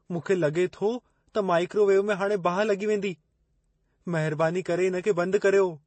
मूंखे लॻे थो त माइक्रोवेव में हाणे बाहि लॻी वेंदी। महिरबानी करे इन खे बंदि कर्यो।